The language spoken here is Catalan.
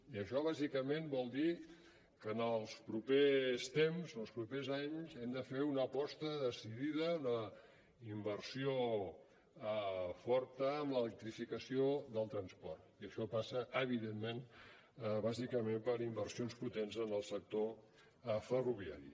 i això bàsicament vol dir que en els propers temps en els propers anys hem de fer una aposta decidida una inversió forta en l’electrificació del transport i això passa evidentment bàsicament per inversions potents en el sector ferroviari